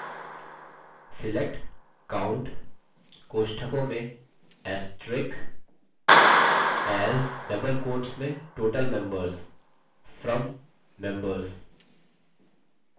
select count * as total members from members